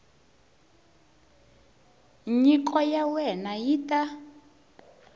nyiko ya wena yi ta